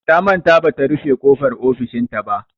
Ta manta bata rufe ƙofar ofishinta ba.